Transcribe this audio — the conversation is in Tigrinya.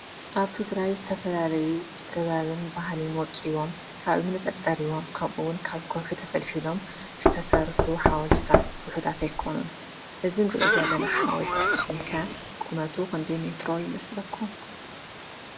አብ ትግራይ ዝተፈላለዩን ጥበብን ባህልን ወቂቦም ካብ እምኒ ተፀሪቦም ከምኡ እውን ካብ ከውሒ ተፈሊፊሎም ዝተሰርሑ ሓወልትታት ውሕዳት አይኮኑን። እዚ ንሪኦ ዘለና ሓወለቲ አክሱም ከ ቁመቱ ክንደይ ሜትሮ ይመስለኩም?